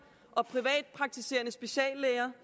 og privatpraktiserende speciallæger